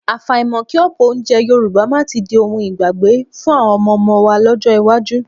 Àfàìmọ̀ kí ọ̀pọ̀ oúnjẹ Yorùbá máa tí di ohun ìgbàgbé fún àwọn ọmọọmọ wa lọ́jọ́ iwájú